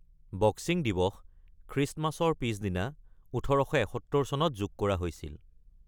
Boxing দিৱস, খ্ৰীষ্টমাছৰ পিছদিনা, ১৮৭১ চনত যোগ কৰা হৈছিল।